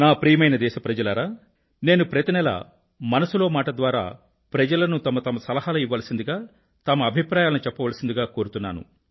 ప్రియమైన నా దేశ ప్రజలారా నేను ప్రతి నెలా మనసులో మాట ద్వారా ప్రజలను తమ తమ సలహాలను ఇవ్వవలసిందిగా తమ అభిప్రాయాలను చెప్పవలసిందిగా కోరుతున్నాను